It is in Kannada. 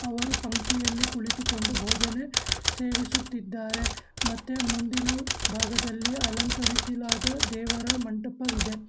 ಅವರು ಪಂಕೆಯಲ್ಲಿ ಕುಳಿತುಕೊಂಡು ಭೋಜನ ಸೇವಿಸುತ್ತಿದ್ದಾರೆ ಮತ್ತೇ ಭಾಗದಲ್ಲಿ ಅಲಂಕರಿಸಲಾದ ದೇವರ ಮಂಟಪವಿದೆ.